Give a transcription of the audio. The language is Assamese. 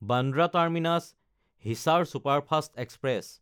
Bandra টাৰ্মিনাছ–হিচাৰ superfast express